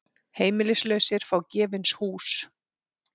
Heimilislausir fá gefins hús